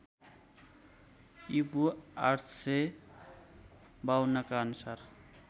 ईपू ८५२ का अनुसार